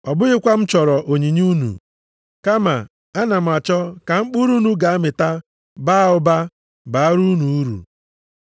Ọ bụghịkwa na m chọrọ onyinye unu, kama ana m achọ ka mkpụrụ unu ga-amịta baa ụba, bara unu uru.